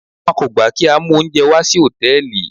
Wọn kò gbà kí á mú oúnjẹ wa wà sí Hòtẹ́lìì.